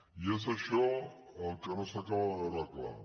i és això el que no s’acaba de veure clar